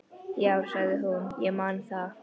Jú, sagði hún, ég man það.